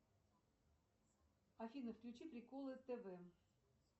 афина включи приколы тв